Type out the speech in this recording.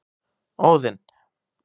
Óðinn